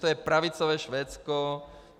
To je pravicové Švédsko.